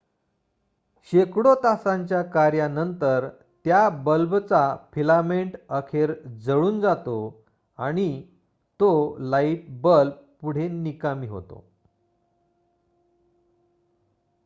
शेकडो तासांच्या कार्यानंतर त्या बल्बचा फिलामेंट अखेर जळून जातो आणि तो लाईट बल्ब पुढे निकामी होतो